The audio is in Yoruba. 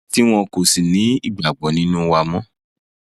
tí wọn kò sì ní ìgbàgbọ nínú wa mọ